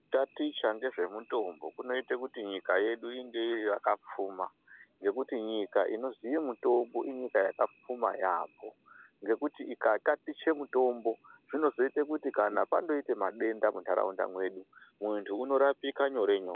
Kutaticha ngezvemutombo kunoite kuti nyika yedu inge iri yakapfuma. Ngekuti nyika inoziye mutombo inyika yakapfuma yaambo. Ngekuti ikatatiche mutombo zvinozoite kuti kana pandoite madenda muntaraunda mwedu, muntu unorapika nyore nyore.